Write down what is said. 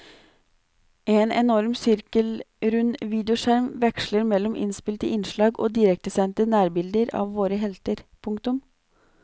En enorm sirkelrund videoskjerm veksler mellom innspilte innslag og direktesendte nærbilder av våre helter. punktum